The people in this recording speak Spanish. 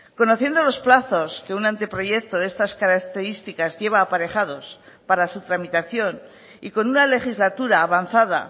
conociendo los plazos que un anteproyecto de estas características lleva aparejados para su tramitación y con una legislatura avanzada